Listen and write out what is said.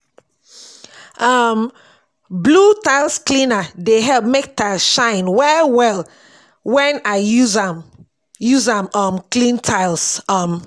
um blew tiles cleaner dey help mek tiles shine well well when I use I use um am clean tiles um